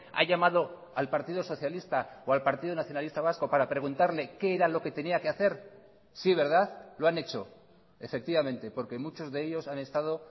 ha llamado al partido socialista o al partido nacionalista vasco para preguntarle qué era lo que tenía que hacer sí verdad lo han hecho efectivamente porque muchos de ellos han estado